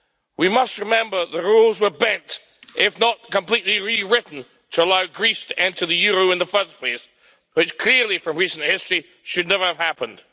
We must remember that rules were bent, if not completely rewritten, to allow Greece to enter the euro in the first place, which clearly from recent history should never have happened.